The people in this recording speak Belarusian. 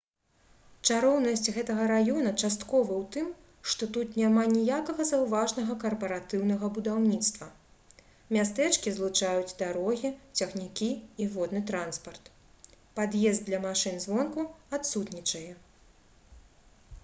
чароўнасць гэтага раёна часткова ў тым што тут няма ніякага заўважнага карпаратыўнага будаўніцтва мястэчкі злучаюць дарогі цягнікі і водны транспарт пад'езд для машын звонку адсутнічае